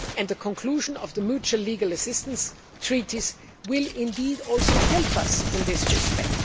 The conclusion of the mutual legal assistance treaties will also help us in this respect.